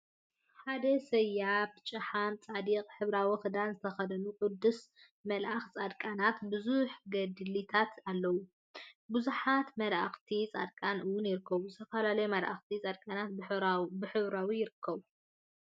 ሓደ ሰያብን ጭሓምን ፃዲቅን ሕብራዊ ክዳን ዝተከደኑ ቅዱሳን መላእክትን ፃድቃናተትን ቡዙሕ ገድሊታት አለው፡፡ ቡዙሓት መላእክትን ፃድቃናትን እውን ይርከቡ፡፡ ዝተፈላለዩ መላእክትን ፃድቃናትን ብሕብራዊ ይርከቡ፡፡